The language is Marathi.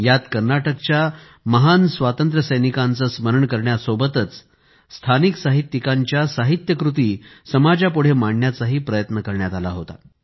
यात कर्नाटकचया महान स्वातंत्र्यसैनिकांचे स्मरण करण्यासोबतच स्थानिक साहित्यिकांच्या उपलब्धी समाजापुढे मांडण्याचाही प्रयत्न करण्यात आला होता